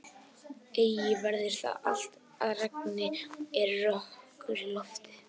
Eigi verður það allt að regni er rökkur í lofti.